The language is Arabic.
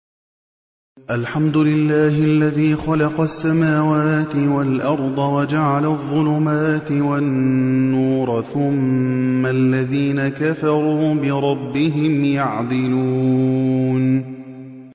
الْحَمْدُ لِلَّهِ الَّذِي خَلَقَ السَّمَاوَاتِ وَالْأَرْضَ وَجَعَلَ الظُّلُمَاتِ وَالنُّورَ ۖ ثُمَّ الَّذِينَ كَفَرُوا بِرَبِّهِمْ يَعْدِلُونَ